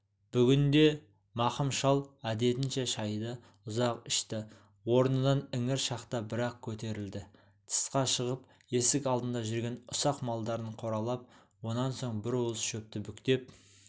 бүгін де мақым шал әдетінше шайды ұзақ ішті орнынан іңір шақта бір-ақ көтерілді тысқа шығып есік алдында жүрген ұсақ малдарын қоралап онан соң бір уыс шөпті бүктеп